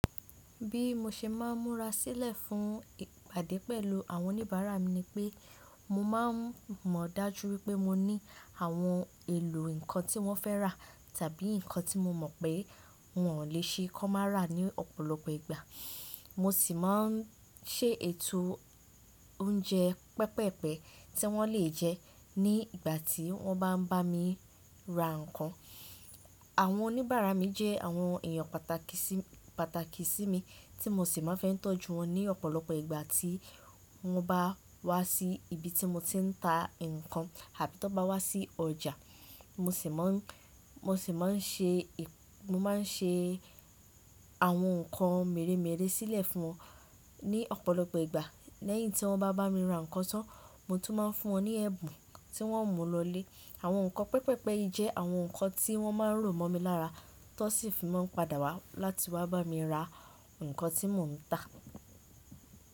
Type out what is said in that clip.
Bí mo ṣe máa ń múra sílẹ̀ fún ìpàdé pẹ̀lú àwọn oníbàárà mi ni pé mo máa ń mọ dájú wípé mo ní àwọn èlò nǹkan tí wọ́n fẹ́ rà tàbí nǹkan tí mo mọ̀ pé wọn ò lè ṣe kọ́ má ra ní ọ̀pọ̀lọpọ̀ ìgbà. Mo sì máa ń se ètò oúnjẹ pẹpẹ́pe tí wọ́n lè jẹ ní ìgbà tí wọ́n bá ń bá mi ra nǹkan. Àwọn oníbàárà mi jẹ́ àwọn èèyàn pàtàkì sí mi, tí mo sì máa ń fẹ́ tọ́jú wọn ní ọ̀pọ̀lọpọ̀ ìgbà tí wọ́n bá wá sí ibi tí mo ti ń ta nǹkan àbí tó bá wá sí ọjà. Mo sì máa ń ṣe àwọn nǹkan mèremère sílẹ̀ fún wọn ní ọ̀pọ̀lọpọ̀ ìgbà lẹ́yìn tí wọ́n bá bá mi ra nǹkan tán, mo tún máa ń fún wọn ní ẹ̀bùn tí wọ́n ó mú lọlé. Àwọn nǹkan pẹpẹ́pe yìí jẹ́ àwọn nǹkan tí wọ́n máa ń rò mọ́ mi lára, tó sì fi máa ń padà wá láti wá bá mi ra nǹkan tí mò ń tà.